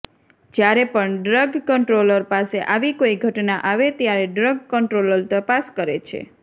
જ્યારે પણ drug controller પાસે આવી કોઈ ઘટના આવે ત્યારે ડ્રગ કંટ્રોલર તપાસ કરે છે